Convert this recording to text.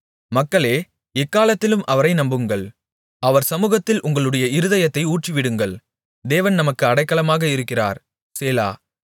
மக்களே எக்காலத்திலும் அவரை நம்புங்கள் அவர் சமுகத்தில் உங்களுடைய இருதயத்தை ஊற்றிவிடுங்கள் தேவன் நமக்கு அடைக்கலமாக இருக்கிறார் சேலா